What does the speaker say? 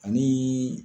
Ani